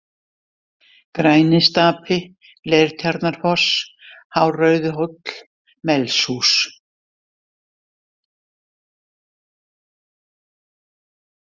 Grænistapi, Leirtjarnarfoss, Hárauðhóll, Melshús